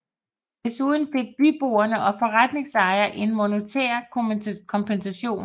Desuden fik byboere og forretningsejere en monetær kompensation